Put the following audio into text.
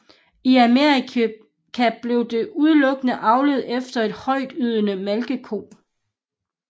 I Amerika blev der udelukkende avlet efter en højtydende malkeko